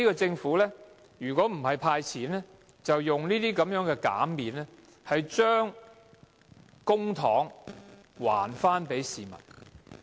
政府今年如果不是派錢，便是透過這些減免，將公帑還給市民。